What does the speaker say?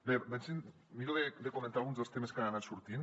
bé miro de comentar alguns dels temes que han anat sortint